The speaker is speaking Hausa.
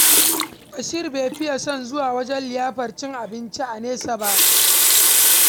Bashir bai fiya son zuwa wajen liyafar cin abinci a nesa ba.